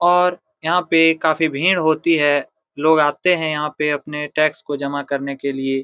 और यहां पे काफी भीड़ होती है लोग आते है यहां पर अपने टैक्स को जमा करने के लिए।